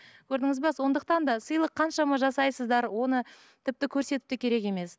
көрдіңіз бе сондықтан да сыйлық қаншама жасайсыздар оны тіпті көрсетіп те керек емес